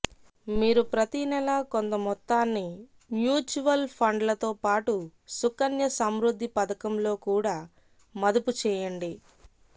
మీరు ప్రతి నెలా కొంత మొత్తాన్ని మ్యూచువల్ ఫండ్లతో పాటు సుకన్య సమృద్ధి పధకం లో కూడా మదుపు చేయండి